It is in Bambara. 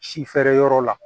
Si feere yɔrɔ la